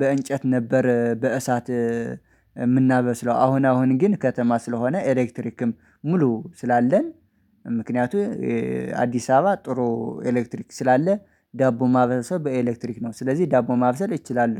በእንጨት ነበር። በእሳት የምናበስለው አሁን አሁን ግን ከተማ ስለሆነ ኤሌክትሪክም ሙሉ ስላለን። ምክንያቱም አዲስ አበባ ጥሩ ኤሌክትሪክ ስላለ ዳቦ ማብሰል በኤሌክትሪክ ነው። ስለዚህ ዳቦ ማብሰል ይችላሉ